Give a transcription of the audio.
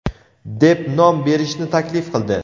deb nom berishni taklif qildi.